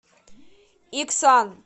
иксан